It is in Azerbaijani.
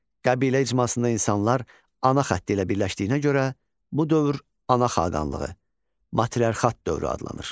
Qəbilə icmasında insanlar ana xətti ilə birləşdiyinə görə bu dövr ana xaqanlığı, materiarxat dövrü adlanır.